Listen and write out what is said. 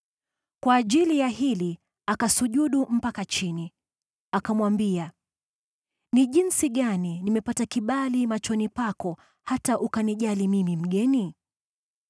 Kwa ajili ya hili, akasujudu mpaka nchi, akamwambia, “Jinsi gani nimepata kibali machoni pako, hata ukanijali mimi mgeni?”